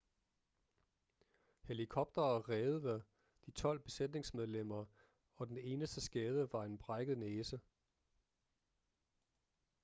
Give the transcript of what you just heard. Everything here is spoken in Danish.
helikoptere reddede de tolv besætningsmedlemmer og den eneste skade var en brækket næse